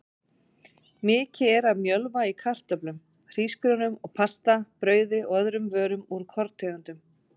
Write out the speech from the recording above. Mikið er af mjölva í kartöflum, hrísgrjónum og pasta, brauði og öðrum vörum úr korntegundum.